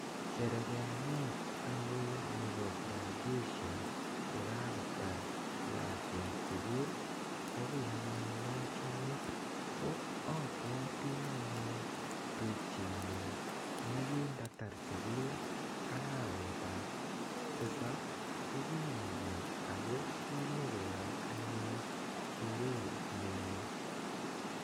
Sherekeanet anyun nepo graduation ko kakotar lakwet sukul ko ki anyun ne achame. Ko apwati anyun tupchetnyun ne kindatar sukul arawetap tisap ko kinyo gaa ako ki nyi keyai anyun shere ne oo.